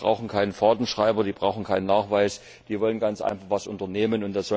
Die brauchen keinen Fahrtenschreiber, die brauchen keinen Nachweis, die wollen ganz einfach etwas unternehmen.